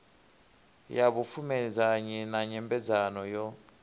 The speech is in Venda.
ya vhupfumedzanyi na nyambedzano yo